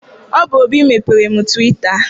Ọ bụ Obi mepeere m twita.